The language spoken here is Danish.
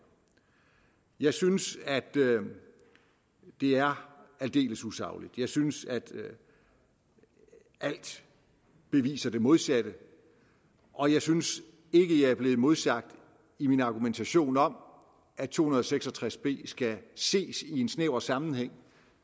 jeg synes det er aldeles usagligt jeg synes alt beviser det modsatte og jeg synes ikke jeg er blevet modsagt i min argumentation om at § to hundrede og seks og tres b skal ses i en snæver sammenhæng